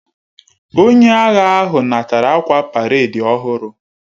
Onye agha ahu natara akwa paredi ohuru